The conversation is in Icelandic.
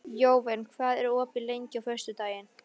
Jóvin, hvað er opið lengi á föstudaginn?